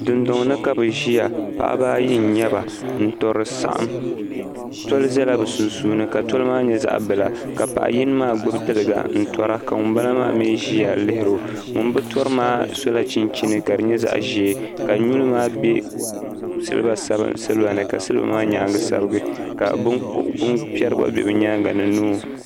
dun duŋ ni ka bɛ ʒɛya paɣ' ba ayi nyɛ ba tuli ʒɛya bisunsuuni tulimaa nyɛ zaɣ' bila paɣ' yini maa gbabi tuliga tura ka ŋɔ bala maa mi ʒɛya yuno ŋɔ be tura maa sula chinchini ka di nyɛ zaɣ' ʒiɛ ka nuli maa bɛ silibani ka siliba maa nyɛŋa sabigi ka bɛni pɛri gba bɛ o nyɛŋa ni no